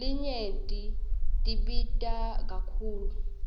letinye tibita kakhulu